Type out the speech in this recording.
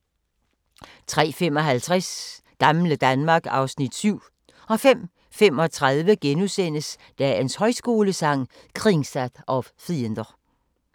03:55: Gamle Danmark (Afs. 7) 05:35: Dagens Højskolesang: Kringsatt av fiender *